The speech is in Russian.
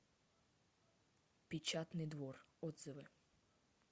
печатный двор отзывы